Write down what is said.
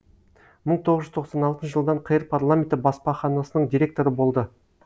мың тоғыз жүз тоқсан алтыншы жылдан қр парламенті баспаханасының директоры болды